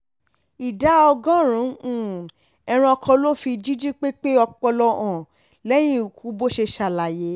ìdá ọgọ́rùn-ún ẹranko ló fi jíjí pépé ọpọlọ hàn lẹ́yìn ikú bó ṣe ṣàlàyé